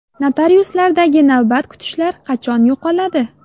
Notariuslardagi navbat kutishlar qachon yo‘qoladi?.